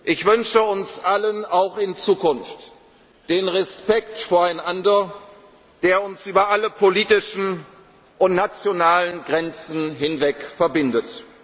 werden. Ich wünsche uns allen auch in Zukunft den Respekt voreinander, der uns über alle politischen und nationalen Grenzen hinweg verbindet.